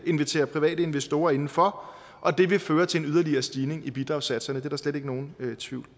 invitere private investorer indenfor og det vil føre til en yderligere stigning i bidragssatserne det er der slet ikke nogen tvivl